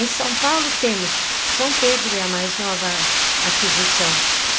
Em São Paulo temos São Pedro, é a mais nova aquisição.